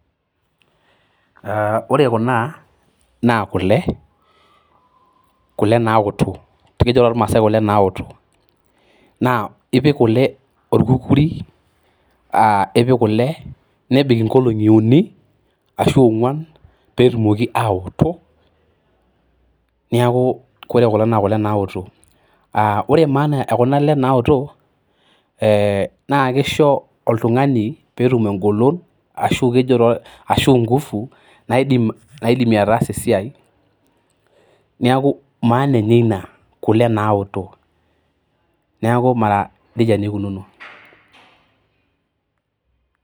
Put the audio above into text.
Aa ore kuna naa kule naaoto, ekijo taa too maasai kule naaotok. Naa ipik kule olkukuri, ipik kule nebik inkoli uni ashuu onkuan pee etumoki aa otok neeku ore kuna naa kule naaotok. Aa ore maana ekuna ale naaotok naa kisho oltungani pee etum enkolon aashu ingufu pee etum ataasa esiai neeku maana enye ina neeku mara nejia naa eikinuno.